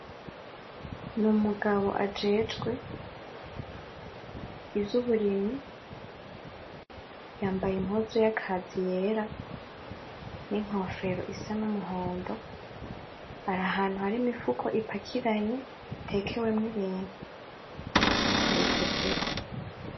N'Umugabo ajejwe ivy'Uburimyi yambaye Impuzu y'Akazi yera, n'Inkofero isa n'Umuhondo, arahantu hari Imifuko ipakiranye itekewemwo Ibintu ayikozeko.